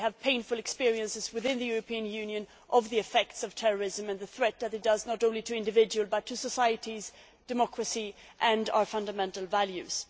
We have painful experiences within the European Union of the effects of terrorism and the threat that it presents, not only to individuals but to societies, democracy and our fundamental values.